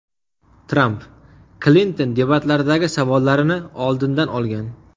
Tramp: Klinton debatlardagi savollarini oldindan olgan.